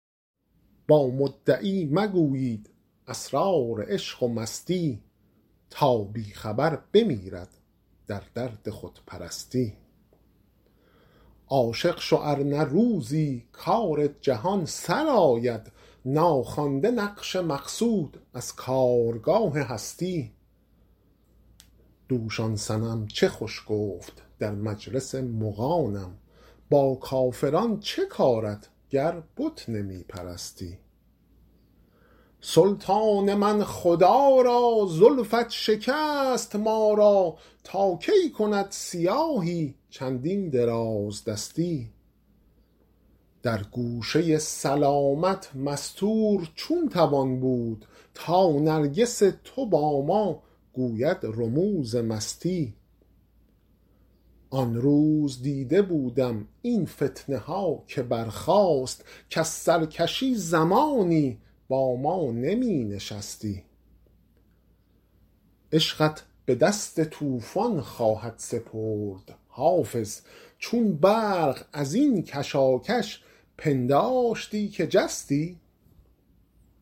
با مدعی مگویید اسرار عشق و مستی تا بی خبر بمیرد در درد خودپرستی عاشق شو ار نه روزی کار جهان سرآید ناخوانده نقش مقصود از کارگاه هستی دوش آن صنم چه خوش گفت در مجلس مغانم با کافران چه کارت گر بت نمی پرستی سلطان من خدا را زلفت شکست ما را تا کی کند سیاهی چندین درازدستی در گوشه سلامت مستور چون توان بود تا نرگس تو با ما گوید رموز مستی آن روز دیده بودم این فتنه ها که برخاست کز سرکشی زمانی با ما نمی نشستی عشقت به دست طوفان خواهد سپرد حافظ چون برق از این کشاکش پنداشتی که جستی